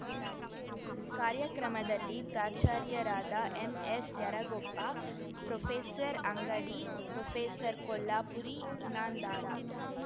ಕಾರ್ಯಕ್ರಮದಲ್ಲಿ ಪ್ರಾಚಾರ್ಯರಾದ ಎಂಎಸ್ಯರಗೊಪ್ಪ ಪ್ರೋಫೆಸರ್ಅಂಗಡಿ ಪ್ರೋಫೆಸರ್ಕೊಲ್ಲಾಪುರಿ ಇನಾಂದಾರ